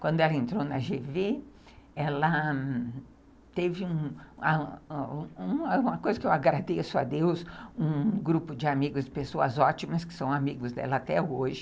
Quando ela entrou na gê vê, ela teve uma coisa que eu agradeço a Deus, um um grupo de amigos, pessoas ótimas que são amigos dela até hoje.